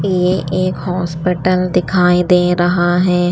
ये एक हॉस्पिटल दिखाई दे रहा है।